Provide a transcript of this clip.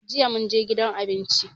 Jiya mun je gidan abinci.